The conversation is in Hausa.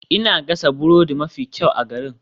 Ina gasa burodi mafi kyau a garin.